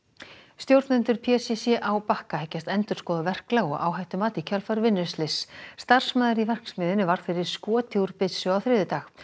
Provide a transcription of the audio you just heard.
stjórnendur p c c á Bakka hyggjast endurskoða verklag og áhættumat í kjölfar vinnuslyss starfsmaður í verksmiðjunni varð fyrir skoti úr byssu á þriðjudag